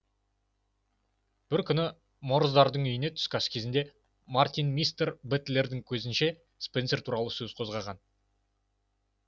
бір күні морздардың үйінде түскі ас үстінде мартин мистер бэтлердің кезінше спенсер туралы сөз қозғаған